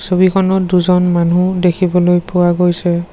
ছবিখনত দুজন মানুহ দেখিবলৈ পোৱা গৈছে।